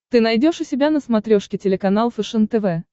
ты найдешь у себя на смотрешке телеканал фэшен тв